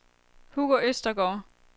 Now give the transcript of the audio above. Hugo Østergaard